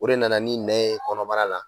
O de nana ni nɛn ye kɔnɔbara la.